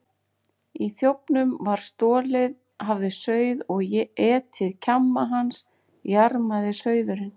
Í þjófnum, sem stolið hafði sauð og etið kjamma hans, jarmaði sauðurinn.